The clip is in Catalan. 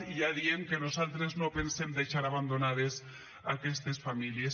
i ja diem que nosaltres no pensem deixar abandonades aquestes famílies